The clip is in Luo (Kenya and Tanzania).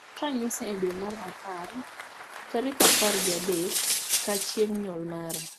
Ket ranyisi e dwe mar apar tarik apar gi adek ka chieng nyuol mara